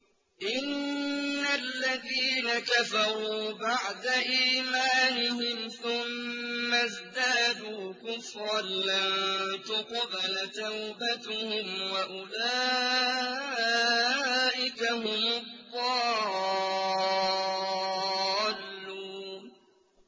إِنَّ الَّذِينَ كَفَرُوا بَعْدَ إِيمَانِهِمْ ثُمَّ ازْدَادُوا كُفْرًا لَّن تُقْبَلَ تَوْبَتُهُمْ وَأُولَٰئِكَ هُمُ الضَّالُّونَ